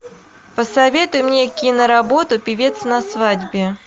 посоветуй мне киноработу певец на свадьбе